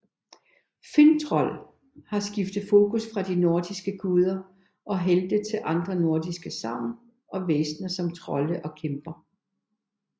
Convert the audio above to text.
Finntroll har skiftet fokus fra de nordiske guder og helte til andre nordiske sagn og væsner som trolde og kæmper